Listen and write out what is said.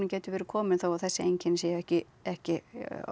getur verið kominn þó að þessi einkenni séu ekki ekki